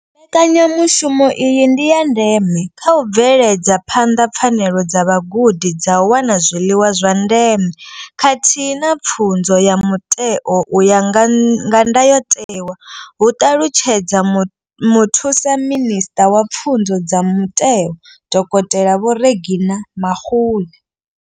Mbekanyamushumo iyi ndi ya ndeme kha u bveledza phanḓa pfanelo dza vhagudi dza u wana zwiḽiwa zwa ndeme khathihi na pfunzo ya mutheo u ya nga ndayotewa, hu ṱalutshedza muthusa minisṱa wa Pfunzo dza Mutheo, dokotela Vho Reginah Mhaule.